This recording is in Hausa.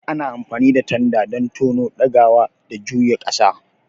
Ana amfani da tanda don tono, ɗagawa, da juya ƙasa.